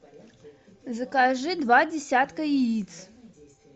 закажи два десятка яиц